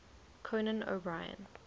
conan o brien